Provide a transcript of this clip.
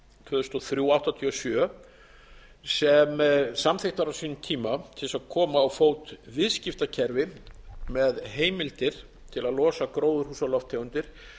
tvö þúsund og þrjú áttatíu og sjö sem samþykkt var á sínum tíma til þess að koma á fót viðskiptakerfi með heimildir til að losa gróðurhúsalofttegundir